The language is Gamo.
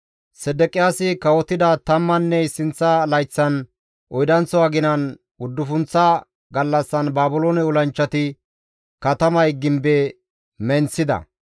Sedeqiyaasi kawotida tammanne issinththa layththan, oydanththo aginan, uddufunththa gallassan Baabiloone olanchchati katamay gimbe menththida.